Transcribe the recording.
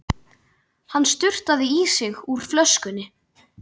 Hann sturtaði í sig úr flöskunni.